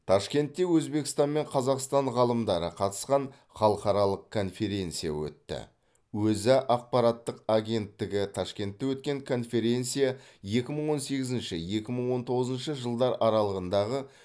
ташкентте өзбекстан мен қазақстан ғалымдары қатысқан халықаралық конференция өтті өза ақпараттық агенттігі ташкентте өткен конференция екі мың он сегізінші екі мың он тоғызыншы жылдар аралығындағы